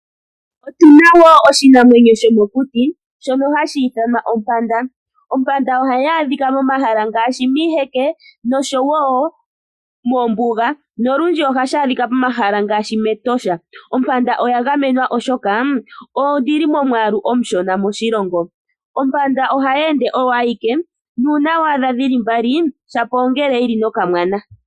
Yimwe yomiinamwenyo yomokuti oyo ompanda. Ompanda ohayi adhika momahala gagamenwa ngaashi mEtosha National Park . Oompanda odhili momiyalu tadhi yalulwa. Ohadhi ende muungundu uushona.